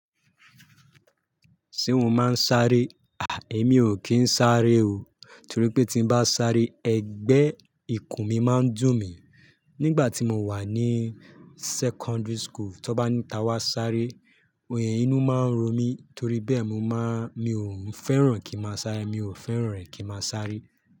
Ṣé mo máa ń sáré? Àí, èmi ò kí ń sáré o. Torí pé tí bá sáré, ẹgbẹ́ ìkùn mi máa ń dùn mí. Nígbà tí mo wà ní secondary school, tí wọ́n bá ní ta wá sáré, oyè inú má ń ro mí torí bẹ́ẹ̀ mi ò ń fẹ́ràn kí má sáré, mi ò fẹ́ràn rẹ̀ kí má sáré.